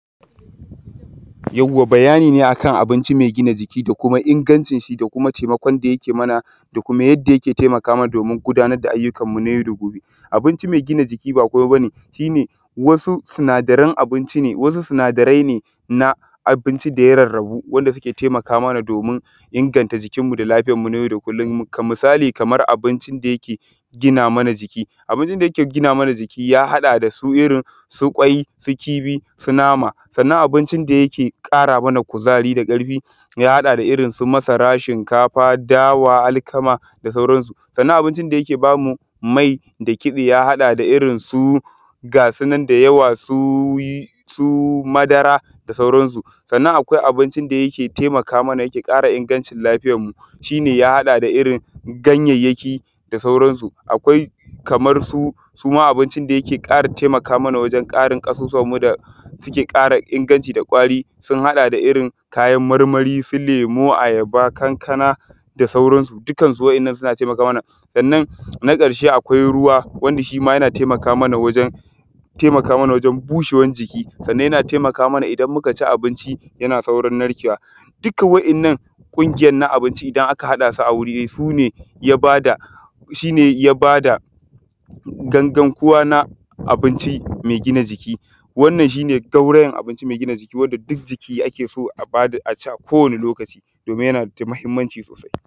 Yauwa bayani ne akan abinci mɛ gina jiki da kama ƙwaƙwalanwan shi da taimakon da yake mana da kama yanda yake taimakamana domin gudamar da ayyukannu na yau da gobe abinci mɛ gina jiki ba komai ba ne face sunadaren abinci ne da ya rarrabu suke taimakamana domin inganta jikinmu da ayyukannu na yau da kullon misali kaman abincin da yeke ginamana jiki abincin da yake ginamana jiki ya haɗa dasu irin su kwai su kifi nama sannan abincin da yake ƙara mana ƙuzari da ƙarfi yahaɗa da su irin su masara shinkafa dawa alkama da sauransu sannan abincin da yake ba mu mai sun haɗa da su irin su ga sunan da yawa su madara da sauransu nan akwai abincin da yake taimakamana wajen ƙara ingantacciyan lafiyanmu abinci ne ya haɗa da su irin su ganayaƙi da sauransu kamarsunsuma abincin da yeke ƙara ƙarfin ƙasusuwannmu da ƙara inganta da kwari ya haɗa da su irin su kayan marmari lemu ayaba kankana da sauransu duka wayannan suna taimakamana na ƙarshe akwai akwai abincin mɛ gina jiki wanda duk jiki yake so a ci a kowani lokaci domin yanda ya na mahimmanci sosai